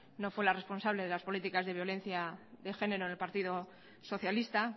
no fue la responsable de las políticas de violencia de género en el partido socialista